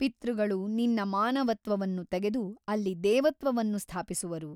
ಪಿತೃಗಳು ನಿನ್ನ ಮಾನವತ್ವವನ್ನು ತೆಗೆದು ಅಲ್ಲಿ ದೇವತ್ವವನ್ನು ಸ್ಥಾಪಿಸುವರು.